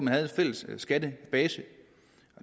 har en fælles skattebase